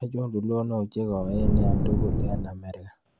Achon tulonik chegoen eng' tugul eng' amerika